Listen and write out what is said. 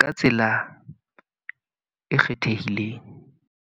ka tsela e kgethehileng.